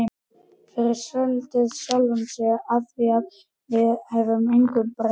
Og fyrirlíti sjálfan sig afþvíað hann getur engu breytt.